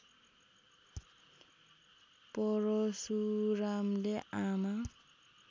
परशुरामले आमा